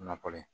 Nakɔ ye